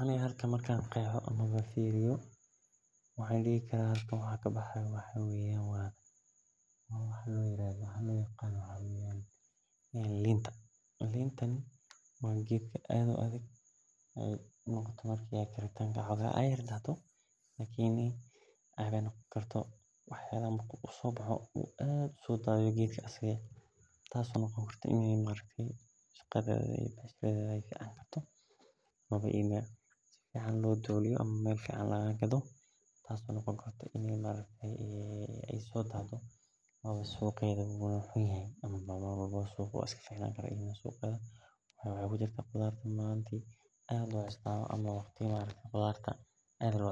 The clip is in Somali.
Aniga halkan marku an firoyo. waxa waxa lo yaqano linta waa wax aad u dahdo lakin marki ee marto aad u dadhato aad ayey u ficantahay marka maxaa fican meel biya leh oo aad